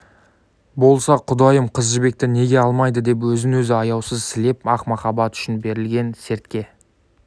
болса құдайым қыз жібекті неге алмайды деп өзін-өзі аяусыз сілеп ақ махаббат үшін берілген сертке